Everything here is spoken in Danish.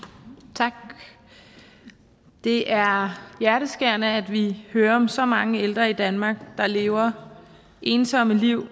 tak det er hjerteskærende at vi hører om så mange ældre i danmark der lever ensomme liv og